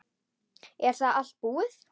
Er þá allt búið?